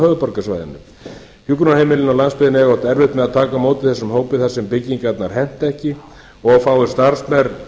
höfuðborgarsvæðinu hjúkrunarheimilin á landsbyggðinni eiga oft erfitt með að taka á móti þessum hópi þar sem byggingarnar henta ekki og of fáir starfsmenn